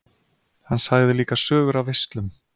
Hann sagði líka sögur af veislum.